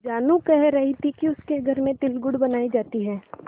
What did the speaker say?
जानू कह रही थी कि उसके घर में तिलगुड़ बनायी जाती है